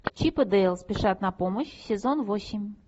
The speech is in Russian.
чип и дейл спешат на помощь сезон восемь